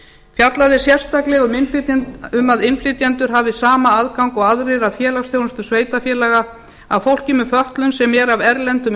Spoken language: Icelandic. fjallað er sérstaklega um að innflytjendur hafi sama aðgang og aðrir að félagsþjónustu sveitarfélaga að fólki með fötlun sem er af erlendum